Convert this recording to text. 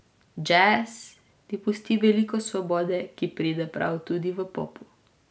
Džez ti pusti veliko svobode, ki pride prav tudi v popu.